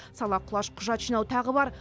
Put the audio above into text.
сала құлаш құжат жинау тағы бар